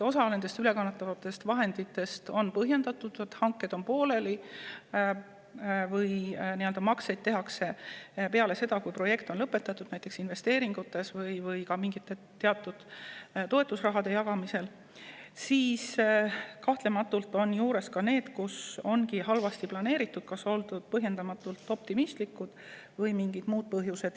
Osa ülekantavatest vahenditest on põhjendatud – hanked on pooleli või makseid tehakse peale seda, kui projekt on lõpetatud, näiteks investeeringutes või ka mingite teatud toetusrahade jagamisel –, kuid kahtlemata on ka selliseid juhtumeid, kus asju ongi halvasti planeeritud, kas on oldud põhjendamatult optimistlik või on mingid muud põhjused.